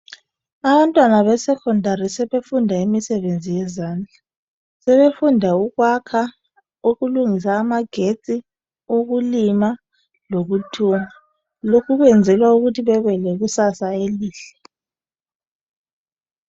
Abantwana besecondary sebefunda imisebenzi yezandla. Sebefunda ukwakha, ukulungisa amagetsi ukulima lokuthunga, lokhu kwenzelwa ukuthi bebe lekusasa elihle.